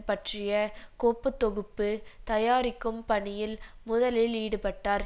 பற்றிய கோப்பு தொகுப்பு தயாரிக்கும் பணியில் முதலில் ஈடுபட்டார்